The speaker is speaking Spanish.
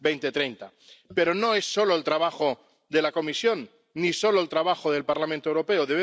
2030. Pero no es solo el trabajo de la Comisión, ni solo el trabajo del Parlamento Europeo.